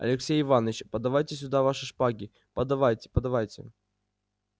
алексей иваныч подавайте сюда ваши шпаги подавайте подавайте